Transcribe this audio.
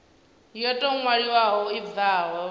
yo tou ṅwaliwaho i bvaho